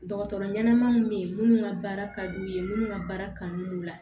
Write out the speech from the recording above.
Dɔgɔtɔrɔ ɲɛnama minnu bɛ yen minnu ka baara ka d'u ye minnu ka baara kanu don u la